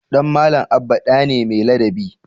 Ɗan Malam Abba ɗa ne mai ladabi.